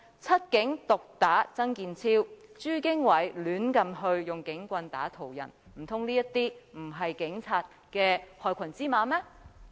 七警毒打曾健超，以及朱經緯胡亂毆打途人事件，難道這些不是警察的害群之馬嗎？